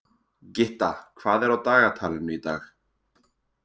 Gytta, hvað er á dagatalinu í dag?